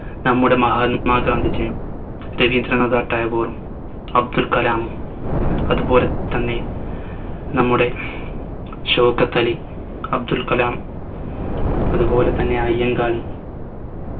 നമ്മുടെ മഹാല്മ ഗാന്ധിജിയും രവീന്ദ്രനാഥ് ടാഗോറും അബ്ദുൽ കലാമും അതുപോലെ തന്നെ നമ്മുടെ ഷൗക്കത്തലി അബ്ദുൽ കലാം അത് പോലെത്തന്നെ അയ്യങ്കാളി